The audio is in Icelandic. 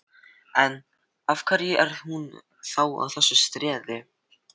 En, af hverju er hún þá að þessu streði?